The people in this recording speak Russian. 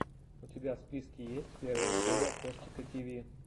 у тебя в списке есть первая серия костика тиви